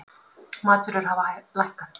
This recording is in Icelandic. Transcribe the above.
Matvörur hafa lækkað